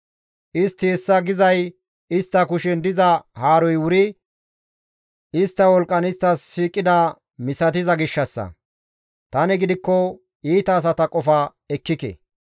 Istti hessa gizay istta kushen diza haaroy wuri istta wolqqan isttas shiiqida misatiza gishshassa. Tani gidikko iita asata qofa ekkike.